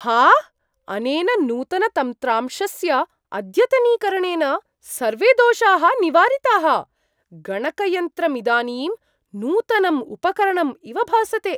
आह्, अनेन नूतनतन्त्रांशस्य अद्यतनीकरणेन सर्वे दोषाः निवारिताः। गणकयन्त्रमिदानीं नूतनं उपकरणम् इव भासते!